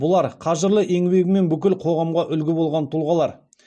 бұлар қажырлы еңбегімен бүкіл қоғамға үлгі болған тұлғалар